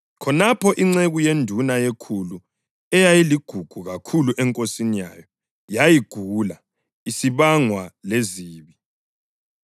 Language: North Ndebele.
Khonapho inceku yenduna yekhulu eyayiligugu kakhulu enkosini yayo, yayigula isibangwa lezibi.